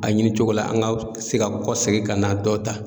A ɲini cogo la an ga se ga kɔ segin ka na dɔ ta